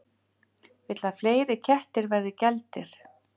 Vill að fleiri kettir verði geldir